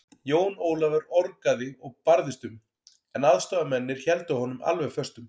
Jón Ólafur orgaði og barðist um, en aðstoðarmennirnir héldu honum alveg föstum.